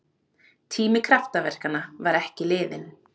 Tími kraftaverkanna var ekki liðinn!